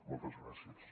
moltes gràcies